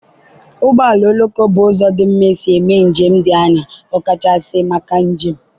ụgbọ oloko bụ ụzọ dị mma isi mee njem dị anya, ọkachasị maka njem.